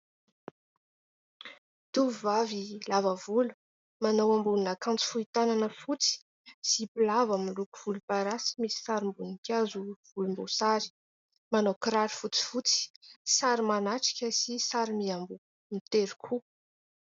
Tovovavy lava volo manao ambonin'akanjo fohy tanana fotsy sy mpilavo miloko volom-parasy misy sarim-boninkazo volomboasary. Manao kiraro fotsy fotsy sary manatrika sy sary miamboho mitery koa.